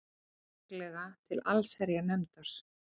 Líklega til allsherjarnefndar